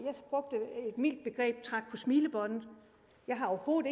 smilebåndet jeg har overhovedet